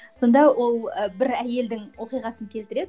сонда ол і бір әйелдің оқиғасын келтіреді